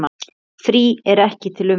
Frí er ekki til umræðu.